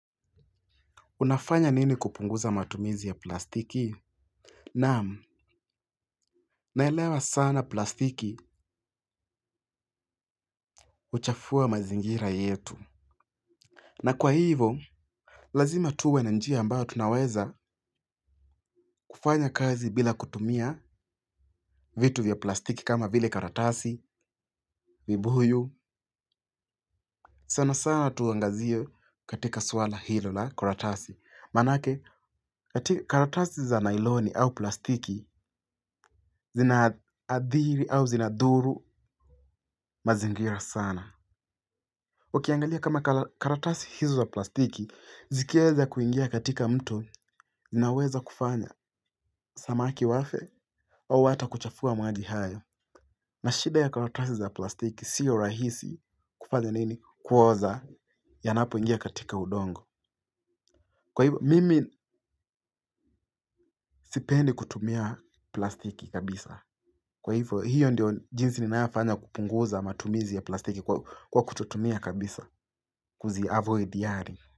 Unafanya nini kupunguza matumizi ya plastiki? Naam, naelewa sana plastiki huchafua mazingira yetu. Na kwa hivo, lazima tuwe na njia ambayo tunaweza kufanya kazi bila kutumia vitu vya plastiki kama vile karatasi, vibuyu. Sana sana tuangazio katika swala hilo la karatasi. Manake, karatasi za nailoni au plastiki zinaadhiri au zinadhuru mazingira sana. Wakiangalia kama karatasi hizo za plastiki zikiweza kuingia katika mto zinaweza kufanya samaki wafe au hata kuchafua maji hayo. Na shida ya karatasi za plastiki siyo rahisi kufanya nini? Kuoza yanapo ingia katika udongo. Kwa hivo mimi sipendi kutumia plastiki kabisa. Kwa hivo hiyo ndio jinsi ninayofanya kupunguza matumizi ya plastiki kwa kututumia kabisa kuziavoid yani.